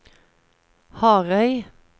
Harøy